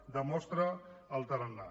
en demostra el tarannà